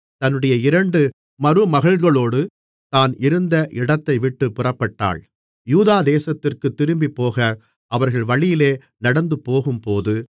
தன்னுடைய இரண்டு மருமகள்களோடு தான் இருந்த இடத்தைவிட்டுப் புறப்பட்டாள் யூதா தேசத்திற்குத் திரும்பிப்போக அவர்கள் வழியிலே நடந்துபோகும்போது